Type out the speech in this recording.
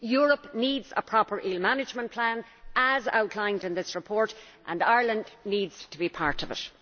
Europe needs a proper eel management plan, as outlined in this report, and Ireland needs to be part of it.